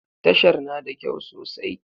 Tashar na da kyau sosai.